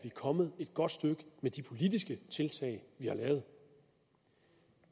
er kommet et godt stykke med de politiske tiltag vi har lavet